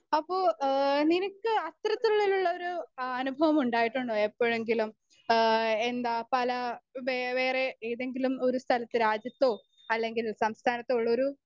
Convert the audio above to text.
speaker 1 അപ്പൊ ഏഹ് നിനക്ക് അത്തരത്തിലുള്ളൊരു അ അനുഭവമുണ്ടായിട്ടുണ്ടോ എപ്പൊഴെങ്കിലും ഏഹ് എന്താ പല ബെ വേറെ ഏതെങ്കിലും ഒരു സ്ഥലത്ത് രാജ്യത്തോ അല്ലെങ്കിൽ സംസ്ഥാനത്തോ ഒള്ളോരു